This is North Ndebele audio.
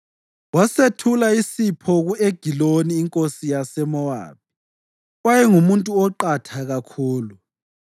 Wasethula isipho ku-Egiloni inkosi yaseMowabi, owayengumuntu oqatha kakhulu.